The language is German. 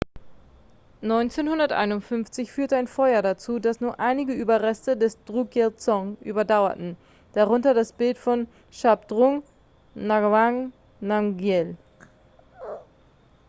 1951 führte ein feuer dazu dass nur einige überreste des drukyel-dzong überdauerten darunter das bild von shabdrung ngawang namgyel